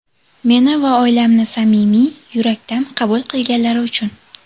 Meni va oilamni samimiy, yurakdan qabul qilganlari uchun.